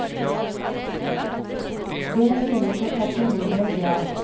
Det synes å passe nordmenn bra.